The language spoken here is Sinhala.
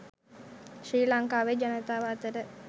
ශ්‍රී ලංකාවේ ජනතාව අතර